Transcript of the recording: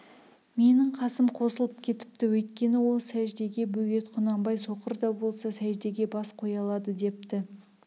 менің қасым қосылып кетіпті өйткені ол сәждеге бөгет құнанбай соқыр да болса сәждеге бас қоя алады депті